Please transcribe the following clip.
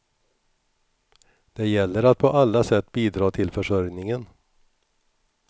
Det gäller att på alla sätt bidra till försörjningen.